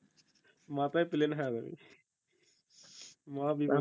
মাথায় plane হয়ে যাবে ভাই মহা বিপদ